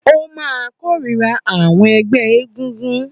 Ó máà kórira àwọn ẹgbẹ́ egúngún